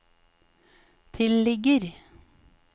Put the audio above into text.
tilligger